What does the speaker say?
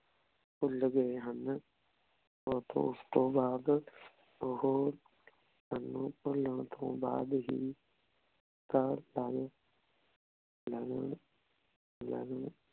ਭੁਲ ਗਾਯ ਹਨ ਓਸ ਤੋਂ ਬਾਅਦ ਓਹੋ ਸਾਨੂ ਭੁਲਾਨ ਤੋਂ ਬਾਅਦ ਹੀ ਤਾਂ ਸਾਰੇ